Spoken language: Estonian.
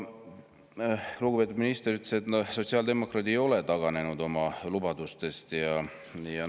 Lugupeetud minister ütles, et sotsiaaldemokraadid ei ole oma lubadustest taganenud.